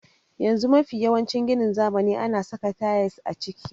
Yanzu mafi yawancin ginin zamani ana saka tayils a ciki.